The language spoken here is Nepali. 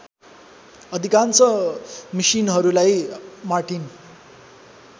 अधिकांश मिसिनहरूलाई मार्टिन